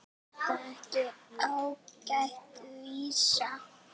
Er þetta ekki ágæt vísa?